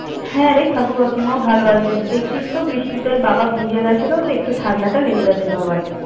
হ্যাঁ, রে কাকু কাকিমাও ভালো আছে দেখছিস তো বৃষ্টিতে বাবা ভিজে গিয়েছিলো তো একটু ঠান্ডাটা লেগে গিয়েছে বাবার।